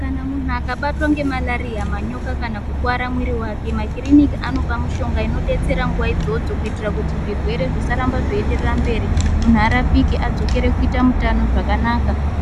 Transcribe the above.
Kana munhu akabatwa ngeMarariya, manyoka kana kukuware muiiri wake makiriniki aope mishonga inobatsira nguwa idzodzo kuitira kuti zvirwere zvisarambe zveyi enderere mberi, munhu arapike adzokere kuita mutano zvakana